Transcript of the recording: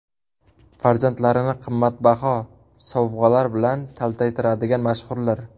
Farzandlarini qimmatbaho sovg‘alar bilan taltaytiradigan mashhurlar.